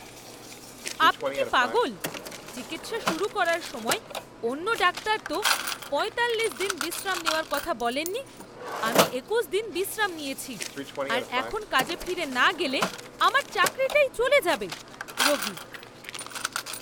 আপনি কি পাগল? চিকিৎসা শুরু করার সময় অন্য ডাক্তার তো পয়তাল্লিশ দিন বিশ্রাম নেওয়ার কথা বলেননি! আমি একুশ দিন বিশ্রাম নিয়েছি আর এখন কাজে ফিরে না গেলে আমার চাকরিটাই চলে যাবে। রোগী